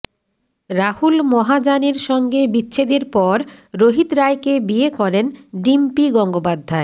রাহুল মহাজানের সঙ্গে বিচ্ছেদের পর রোহিত রায়কে বিয়ে করেন ডিম্পি গঙ্গোপাধ্যায়